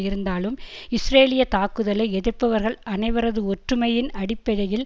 இருந்தாலும் இஸ்ரேலிய தாக்குதலை எதிர்ப்பவர்கள் அனைவரதும் ஒற்றுமையின் அடிப்படையில்